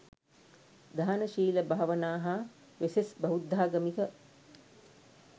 දාන, ශීල, භාවනා, හා වෙසෙස් බෞද්ධාමික